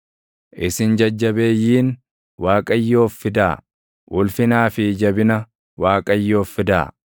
Isin jajjabeeyyiin, Waaqayyoof fidaa; ulfinaa fi jabina Waaqayyoof fidaa.